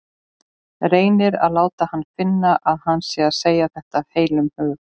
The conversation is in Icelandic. Reynir að láta hana finna að hann sé að segja þetta af heilum hug.